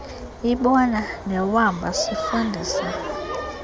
ibona newamba sifundisa